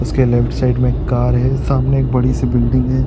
उसके left side में car है सामने एक बड़ी सी बिल्डिंग है।